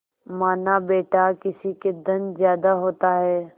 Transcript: मानाबेटा किसी के धन ज्यादा होता है